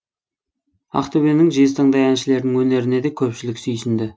ақтөбенің жезтаңдай әншілерінің өнеріне де көпшілік сүйсінді